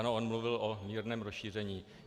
Ano, on mluvil o mírném rozšíření.